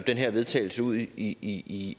her vedtagelse ud i